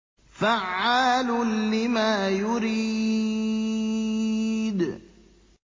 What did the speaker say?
فَعَّالٌ لِّمَا يُرِيدُ